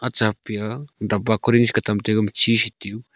acha pia damba korig .]